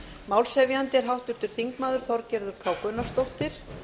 málshefjandi er háttvirtur þingmaður þorgerður k gunnarsdóttir